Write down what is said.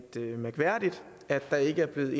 at der ikke er givet